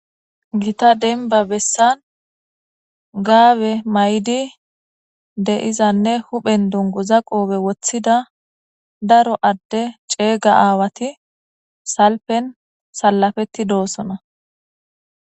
gita denba bessan gaabe may7di de7izanne huphen dungu za qoobe woththida daro adde ceega aawati salpen salafetti doosona